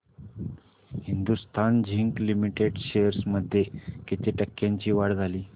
Hindustan zinc limited shares मध्ये किती टक्क्यांची वाढ झाली